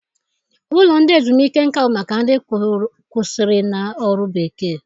Ụlọ ndị ezumiike nka bụ maka ndị kwụsịrịla ọrụ bekee.